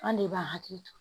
An de b'an hakili to